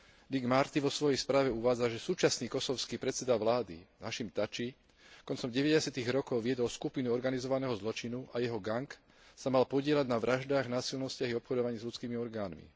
Dick Marty vo svojej správe uvádza, že súčasný kosovský predseda vlády Hašim Tači koncom deväťdesiatych rokov viedol skupinu organizovaného zločinu a jeho gang sa mal podieľať na vraždách, násilnostiach a obchodovaní s ľudskými orgánmi.